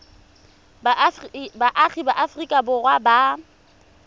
baagi ba aforika borwa ba